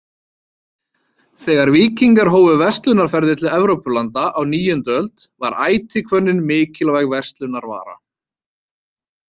Þegar víkingar hófu verslunarferðir til Evrópulanda á níundu öld var ætihvönnin mikilvæg verslunarvara.